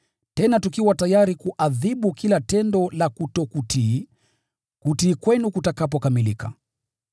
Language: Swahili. tena tukiwa tayari kuadhibu kila tendo la kutotii, kutii kwenu kutakapokamilika.